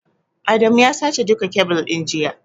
Adamu ya sace duka kebil ɗin jiya.